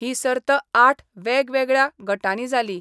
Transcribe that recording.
ही सर्त आठ वेगवेगळ्या गटांनी जाली.